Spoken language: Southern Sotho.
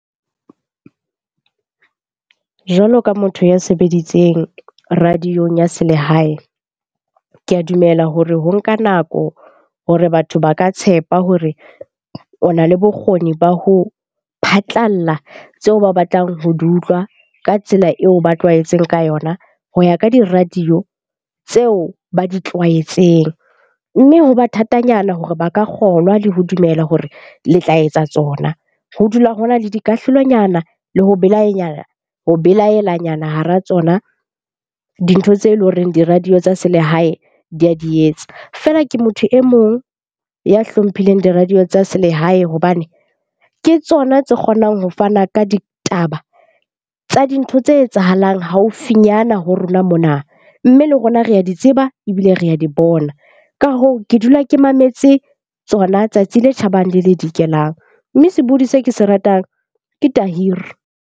Jwalo ka motho ya sebeditseng radio-ong ya selehae, ke a dumela hore ho nka nako hore batho ba ka tshepa hore o na le bokgoni ba ho phatlalla tseo ba batlang ho di utlwa ka tsela eo ba tlwaetseng ka yona ho ya ka di-radio tseo ba di tlwaetseng. Mme ho ba thatanyana hore ba ka kgolwa le ho dumela hore le tla etsa tsona. Ho dula ho na le dikahlolonyana le ho ho belaelanyana hara tsona dintho tse leng horeng di-radio tsa selehae di a di etsa. Feela ke motho e mong ya hlomphileng di-radio tsa selehae hobane ke tsona tse kgonang ho fana ka ditaba tsa dintho tse etsahalang haufinyana ho rona mona. Mme le rona re a di tseba ebile re a di bona. Ka hoo, ke dula ke mametse tsona tsatsi le tjhabang le le dikelang. Mme sebohodi se ke se ratang ke .